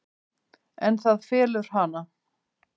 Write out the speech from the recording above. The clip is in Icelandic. En það felur hana.